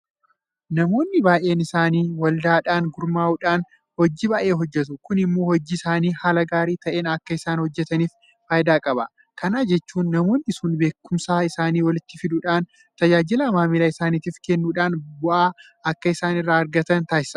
Namoonni baay'een isaanii waldaadhaan gurmaa'uudhaan hojii baay'ee hojjetu. Kun immoo hojii isaanii haala gaarii ta'een akka isaan hojjetaniif faayidaa qaba. Kana jechuun namoonni sun beekumsa isaanii walitti fidachuudhaan tajaajila maamila isaaniitiif kennuudhaan bu'aa akka isaan irraa argatan taasisa.